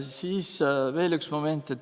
Siis veel üks moment.